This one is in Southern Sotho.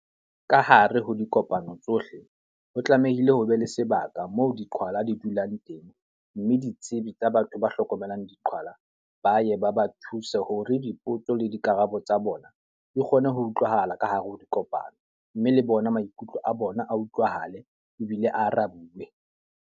Ka hare ho dikopano tsohle, ho tlamehile ho be le sebaka moo diqhwala di dulang teng. Mme ditsebi tsa batho ba hlokomelang diqhwala ba ye ba ba thuse, hore dipotso le dikarabo tsa bona di kgone ho utlwahala ka hare ho dikopano. Mme le bona maikutlo a bona a utlwahale ebile a arabe.